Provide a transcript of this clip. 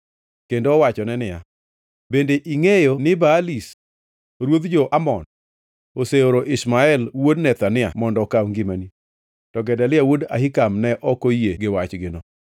kendo owachone niya, “Bende ingʼeyo ni Baalis ruodh jo-Amon oseoro Ishmael wuod Nethania mondo okaw ngimani?” To Gedalia wuod Ahikam ne ok oyie gi wachgino.